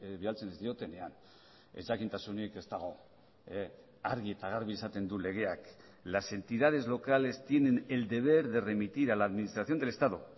bidaltzen ez diotenean ezjakintasunik ez dago argi eta garbi esaten du legeak las entidades locales tienen el deber de remitir a la administración del estado